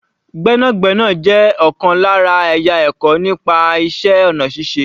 Gbẹ́nàgbẹ́nà jẹ́ ọ̀kan lára ẹ̀yà ẹ̀kọ́ nípa iṣẹ́ ọ̀nà ṣíṣe